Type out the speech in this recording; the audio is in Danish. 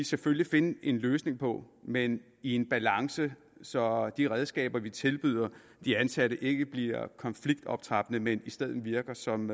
selvfølgelig finde en løsning på men i en balance så de redskaber vi tilbyder de ansatte ikke bliver konfliktoptrappende men i stedet virker som